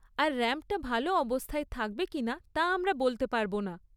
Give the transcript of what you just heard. আর র‍্যাম্পটা ভালো অবস্থায় থাকবে কিনা তা আমরা বলতে পারব না।